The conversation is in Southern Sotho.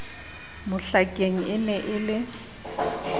mohlakeng e ne e le